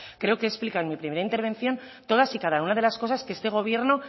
creo que he explicado en mi primera intervención todas y cada una de las cosas que este gobierno